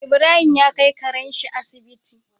Ibrahim ya kai Karen shi Asibiti